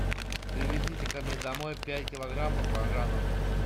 привезите ко мне домой пять килограмм баклажанов